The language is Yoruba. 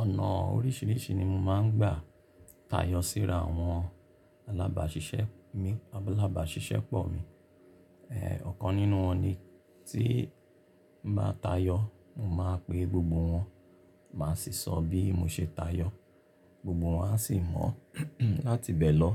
Ọ̀nà oríṣiríṣi ni mo máa ń gbà táyọ síra àwọn alábàáṣiṣẹ́ mi, álabàáṣiṣẹ́pọ̀ mi. Ọ̀kan nínú wọn ni tí mo bá tayọ, mo máa pe gbogbo wọn, màá sì sọ bí mo ṣe tayọ, gbogbo wọn a sì mọ láti bẹ lọ,